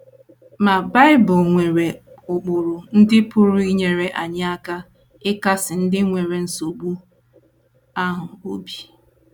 Ma, Bible nwere ụkpụrụ ndị pụrụ inyere anyị aka ịkasi ndị nwere nsogbu ahụ obi.